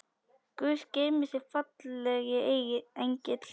Guð geymi þig, fallegi engill.